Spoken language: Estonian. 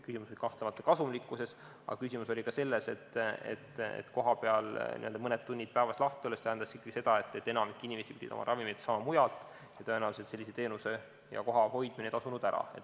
Küsimus oli kahtlemata kasumlikkuses, aga küsimus oli ka selles, et kohapeal mõned tunnid päevas lahti olemine tähendas ikkagi seda, et enamik inimesi pidi oma ravimeid saama mujalt, ja tõenäoliselt sellise teenuse ja koha hoidmine ei tasunud ära.